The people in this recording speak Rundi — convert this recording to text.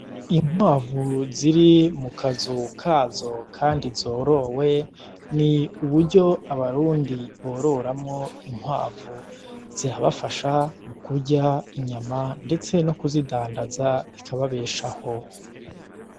Inkwavu ziri mu kazu kazo kandi zorowe, ni uburyo abarundi bororamwo inkwavu. Zirabafasha kurya inyama ndetse no kuzidandaza bikababeshaho.